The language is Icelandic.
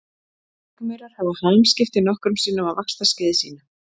Rykmaurar hafa hamskipti nokkrum sinnum á vaxtarskeiði sínu.